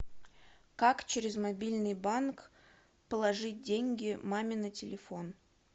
как через мобильный банк положить деньги маме на телефон